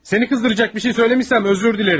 Səni qızdıracaq bir şey demişəmsə üzr istəyirəm.